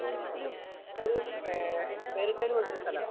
ഒരു ഒരു വേറിട്ട പോലത്തെ ഒരു സ്ഥലാ.